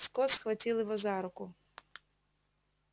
скотт схватил его за руку